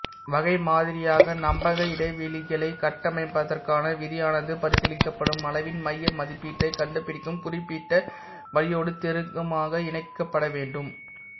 வகைமாதிரியாக நம்பக இடைவெளிகளைக் கட்டமைப்பதற்கான விதியானது பரிசீலி்க்கப்படும் அளவின் மைய மதிப்பீட்டைக் கண்டுபிடிக்கும் குறிப்பிட்ட வழியோடு நெருக்கமாக இணைக்கப்பட வேண்டும